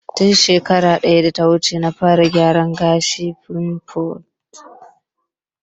Tun shekarar data wuce na fara gyaran gashin "pompadour"